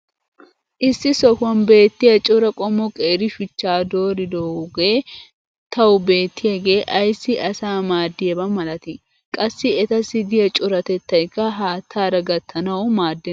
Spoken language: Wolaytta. issi sohuwan beetiya cora qommo qeeri shuchchaa dooridpoogee tawu beetiyaage ayssi asaa maadiyaaba malatii? qassi etassiu diya coratettaykka haataara gattanawu maadenna.